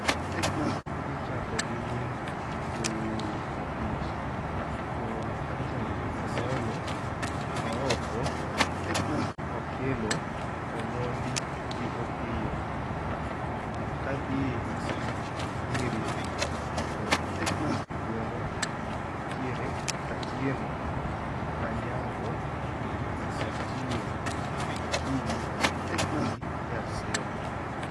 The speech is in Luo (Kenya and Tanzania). Adhi chako gi nying' jowuoy abich, to adhi chako gi Omollo, Ooko, Okello, Omondi gi Opiyo. Aya kadhie nying' nyiri e gwengwa nitiere Atieno, Anyango, Achieng, Akinyi gi Nyasembo